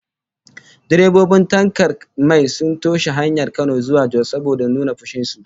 Direbobin tankar mai sun toshe hanyar Kano zuwa Jos saboda nuna fushin su